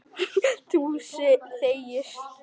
Þú þegir.